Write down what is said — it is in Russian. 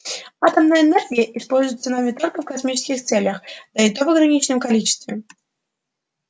атомная энергия используется нами только в космических целях да и то в ограниченном количестве